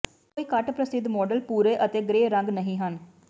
ਕੋਈ ਘੱਟ ਪ੍ਰਸਿੱਧ ਮਾਡਲ ਭੂਰੇ ਅਤੇ ਗ੍ਰੇ ਰੰਗ ਨਹੀਂ ਹਨ